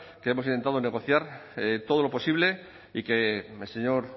que hemos intentado negociar todo lo posible y que el señor